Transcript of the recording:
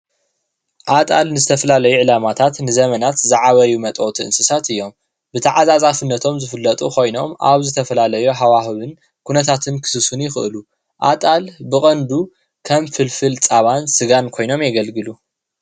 ኣጣል ንዝተፈላለዩ ዕላማታትን ንዘመናት ዝዓበዩ መጥበዉቲ እንስሳት እዮም፡፡ ብተዓፃፃፍነቶም ዝፍለጡ ኮይኖም ኣብ ዝተፈላለዩ ሃዋህዉን ኩነታትን ክስስኑ ይኽእሉ፡፡ ኣጣል ብቐንዱ ከም ፍልፍል ፃባን ስጋን ኮይኖም የገልግሉ፡፡